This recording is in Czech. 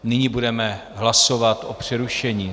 Nyní budeme hlasovat o přerušení.